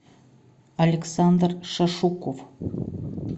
александр шашуков